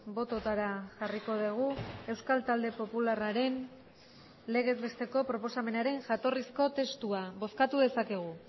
bototara jarriko dugu euskal talde popularraren legez besteko proposamenaren jatorrizko testua bozkatu dezakegu